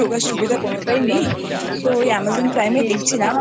আর সুবিধা কোনোটাই নেই তো ওই Amazon Primeএই দেখছিলাম